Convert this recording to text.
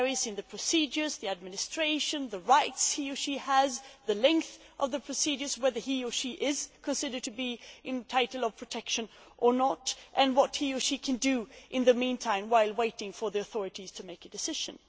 They vary in terms of the procedures, the administration, the rights he or she has, the length of the procedures, whether he or she is considered to be entitled to protection or not, and what he or she can do in the meantime while waiting for the authorities to make a decision.